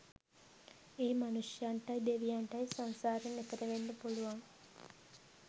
ඒ මනුෂ්‍යයන්ටයි දෙවියන්ටයි සංසාරෙන් එතෙර වෙන්න පුළුවන්